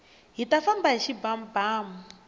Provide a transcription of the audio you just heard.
hita famba hi xibamubamu